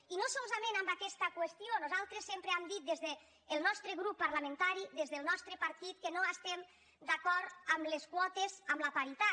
i no solament en aquesta qüestió nosaltres sempre hem dit des del nostre grup parlamentari des del nostre partit que no estem d’acord amb les quotes amb la paritat